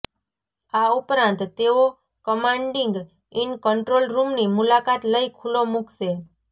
આ ઉપરાંત તેઓ કમાન્ડિંગ ઈન કંટ્રોલ રૂમની મુલાકાત લઇ ખુલ્લો મુકશે